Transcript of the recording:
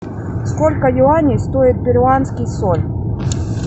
сколько юаней стоит перуанский соль